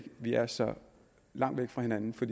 vi er så langt fra hinanden for